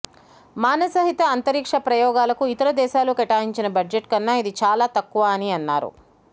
మానసహిత అంతరిక్ష ప్రయోగాలకు ఇతర దేశాలు కేటాయించిన బడ్జెట్ కన్నా ఇది చాలా తక్కువ అని అన్నారు